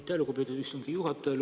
Aitäh, lugupeetud istungi juhataja!